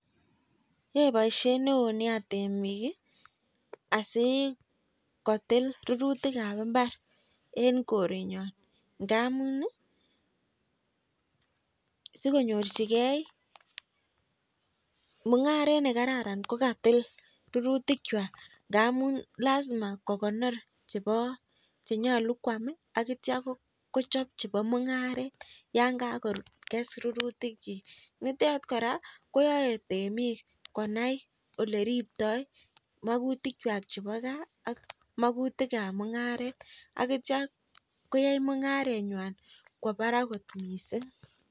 Yae baishet neonia temik asikotil rururtik ab imbar en korenywan ngamun sikonyorchigei mungaret nekararan kokatil rurutik chwak rurutik chwak ngamun lasima kokonor chenyalu kwam akitya kochob chebo mungaret yangakokes rurutik chik nitet koraa koyae temik konai oleribtoi magutik chwak chebo Gai ak makutik ab mungaret akitya koyai mungaret Kwa Barak kot mising